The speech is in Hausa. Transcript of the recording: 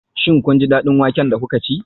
Shin kun ji daɗin wake da kuka ci?